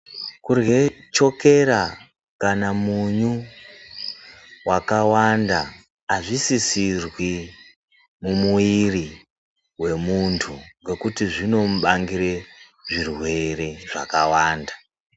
Kurye chokera kana munyu wakavanda azvisisirwi mumuiri wemuntu ngekuti zvinomubangire zvirwere zvakawanda.